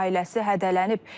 Ailəsi hədələnib.